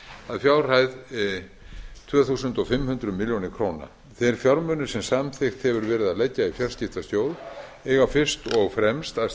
að fjárhæð tvö þúsund fimm hundruð milljóna króna þeir fjármunir sem samþykkt hefur verið að leggja í fjarskiptasjóð eiga fyrst og fremst að